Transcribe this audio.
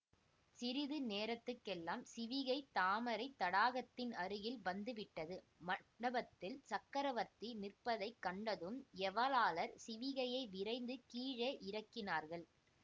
சிறிது நேரத்துக்கெல்லாம் சிவிகை தாமரைத் தடாகத்தின் அருகில் வந்துவிட்டது மண்டபத்தில் சக்கரவர்த்தி நிற்பதைக் கண்டதும் ஏவலாளர் சிவிகையை விரைந்து கீழே இறக்கினார்கள்